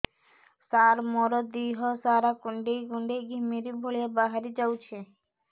ସାର ମୋର ଦିହ ସାରା କୁଣ୍ଡେଇ କୁଣ୍ଡେଇ ଘିମିରି ଭଳିଆ ବାହାରି ଯାଉଛି